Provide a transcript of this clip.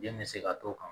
Den bɛ se ka t'o kan